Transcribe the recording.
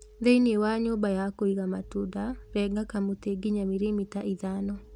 Thĩnĩ wa nyũmba ya kũiga matunda, renga kamutĩ nginya mirimita ithano